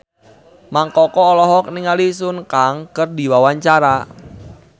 Mang Koko olohok ningali Sun Kang keur diwawancara